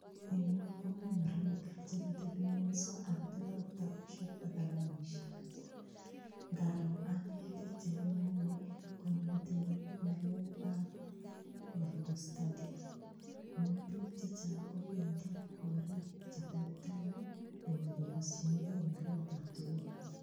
Eng yu komi murenik che kitebingunyso ak kotindo kitabusiek ak kalamisiek, ngaro ane pikchait neu ni, konyo metinyu ngalekab bible study, amun piik che chang kobendi gorik che terter ii, konyokokasyinikei ngolyotab Jehova.